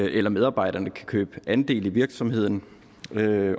eller medarbejderne kan købe andel i virksomheden